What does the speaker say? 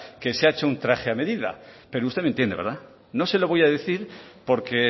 que se ha hecho un traje a medida pero usted me entiende verdad no se lo voy a decir porque